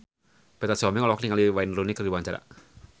Petra Sihombing olohok ningali Wayne Rooney keur diwawancara